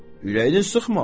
Ürəyini sıxma.